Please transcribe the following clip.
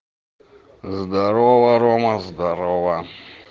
здорово рома здорово